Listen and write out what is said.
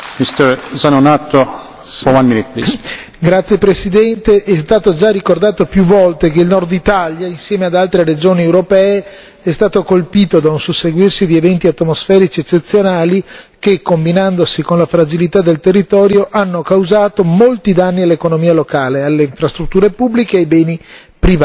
Signor Presidente, onorevoli colleghi, è stato già ricordato più volte che il nord Italia, insieme ad altre regioni europee, è stato colpito da un susseguirsi di eventi atmosferici eccezionali che combinandosi con la fragilità del territorio hanno causato molti danni all'economia locale, alle infrastrutture pubbliche e ai beni privati.